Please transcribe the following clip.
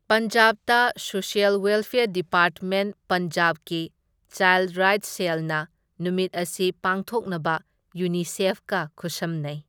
ꯄꯟꯖꯥꯕꯇ social welfare department ꯄꯟꯖꯥꯕꯀꯤ child rights ꯁꯦꯜꯅ ꯅꯨꯃꯤꯠ ꯑꯁꯤ ꯄꯥꯡꯊꯣꯛꯅꯕ ꯌꯨꯅꯤꯁꯦꯐꯀ ꯈꯨꯠꯁꯝꯅꯩ꯫